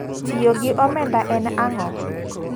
Tiyo gi omenda en ang'o?